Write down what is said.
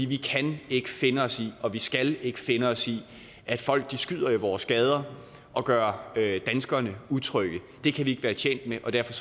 vi kan ikke finde os i og vi skal ikke finde os i at folk skyder i vores gader og gør danskerne utrygge det kan vi ikke være tjent med og derfor